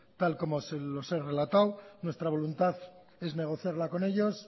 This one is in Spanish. tal como se los he relatado nuestra voluntad es negociarla con ellos